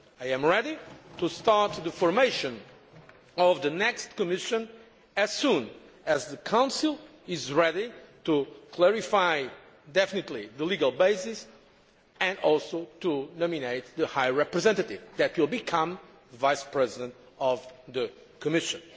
I am ready to start the formation of the next Commission as soon as the Council is ready to clarify the legal basis definitively, and also to nominate the High Representative who will become Vice President of the Commission.